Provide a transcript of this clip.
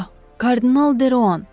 A, kardinal Deroan.